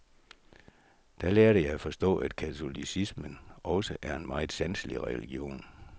Da lærte jeg at forstå, at katolicismen også er en meget sanselig religion.